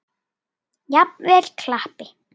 Jafnvel klappi.